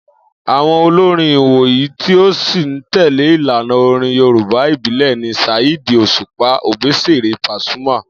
Àwo̩n olórin ìwòyìí tí ó sì ń tè̩lé ìlànà orin Yorùbá ìbílè̩ ni Saheed Òsùpá, Òbésèré, Pasuma,